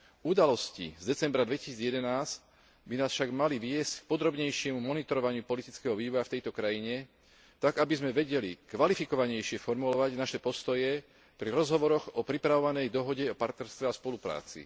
Udalosti z decembra 2011 by nás však mali viesť k podrobnejšiemu monitorovaniu politického vývoja v tejto krajine, tak aby sme vedeli kvalifikovanejšie formulovať naše postoje pri rozhovoroch o pripravovanej dohode o partnerstve a spolupráci.